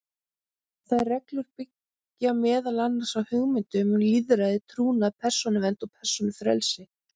Þær reglur byggja meðal annars á hugmyndum um lýðræði, trúnað, persónuvernd og persónufrelsi.